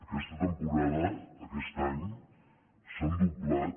aquesta temporada aquest any s’han doblat